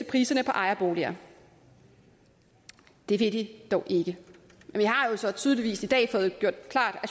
priserne på ejerboliger det vil de dog ikke vi har jo så tydeligvis i dag fået gjort klart at